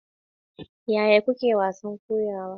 Yaya kuke wasan kokawa?